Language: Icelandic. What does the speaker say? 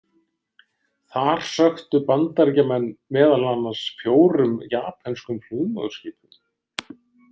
Þar sökktu Bandaríkjamenn meðal annars fjórum japönskum flugmóðurskipum.